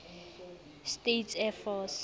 states air force